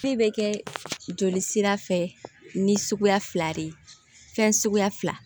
Ne bɛ kɛ joli sira fɛ ni suguya fila de ye fɛn suguya fila